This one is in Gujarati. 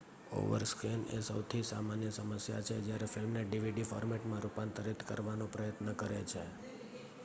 ઓવરસ્કૅન એ સૌથી સામાન્ય સમસ્યાછે જ્યારે ફિલ્મને ડીવીડી ફોર્મેટમાં રૂપાંતરિત કરવાનો પ્રયત્ન કરે છે